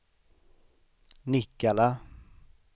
Nikkala